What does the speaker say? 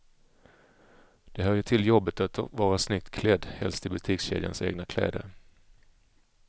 Det hör ju till jobbet att vara snyggt klädd, helst i butikskedjans egna kläder.